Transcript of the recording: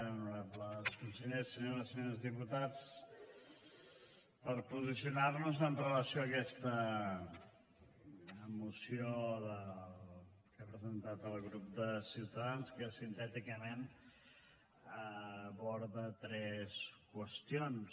honorables consellers senyores i senyors diputats per posicionar nos amb relació a aquesta moció que ha presentat el grup de ciutadans que sintèticament aborda tres qüestions